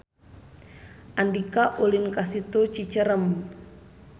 Andika ulin ka Situ Cicerem